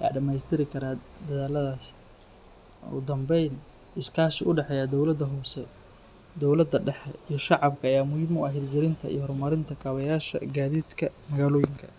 ayaa dhammaystiri kara dadaalladaas. Ugu dambeyn, iskaashi u dhexeeya dowladda hoose, dowladda dhexe iyo shacabka ayaa muhiim u ah hirgelinta iyo horumarinta kabayaasha gaadiidka magaalooyinka.